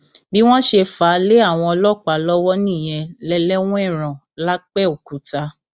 bí wọn ṣe fà á lé àwọn ọlọpàá lọwọ nìyẹn lẹlẹwẹẹran lápẹọkúta